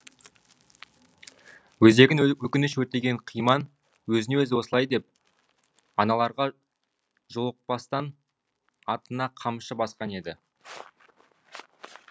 өзегін өкініш өртеген қиман өзіне өзі осылай деп аналарға жолықпастан атына қамшы басқан еді